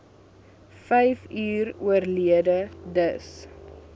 vyfuur oorlede dis